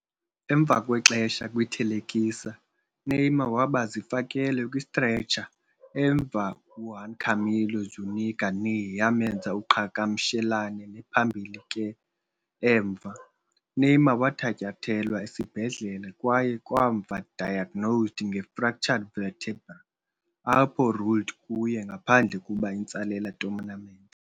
Emva kwexesha kwi-thelekisa, Neymar waba zifakelwe kwi-stretcher emva Juan Camilo Zúñiga's knee yamenza uqhagamshelane nephambili ke, emva. Neymar wathatyathelwa esibhedlele kwaye kamva diagnosed nge-fractured vertebra, apho ruled kuye ngaphandle kuba intsalela tournament.